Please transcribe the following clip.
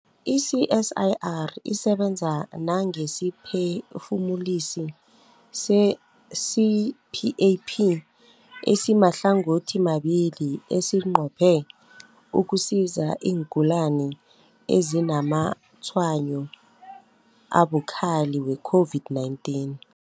I-CSIR isebenza nangesiphefumulisi se-CPAP esimahlangothimabili esinqophe ukusiza iingulani ezinazamatshwayo abukhali we-COVID-19.